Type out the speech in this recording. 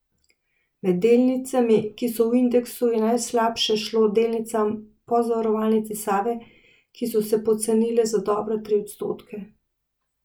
Med delnicami, ki so v indeksu, je najslabše šlo delnicam Pozavarovalnice Save, ki so se pocenile za dobre tri odstotke.